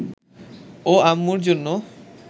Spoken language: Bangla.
ও আম্মুর জন্য